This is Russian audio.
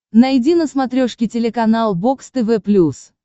найди на смотрешке телеканал бокс тв плюс